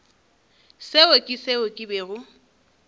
seo ke seo ke bego